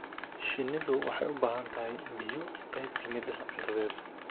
Shinnidu waxay u baahan tahay biyo qayb ka mid ah cuntadeeda.